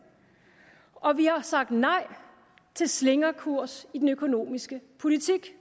og vi har sagt nej til slingrekurs i den økonomiske politik